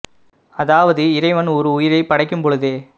அதாவது இறைவன் ஓர் உயிரைப்படைக்கும்பொழுதே